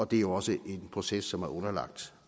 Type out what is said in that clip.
det er jo også en proces som er underlagt